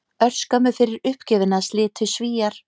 Örskömmu fyrir uppgjöfina slitu Svíar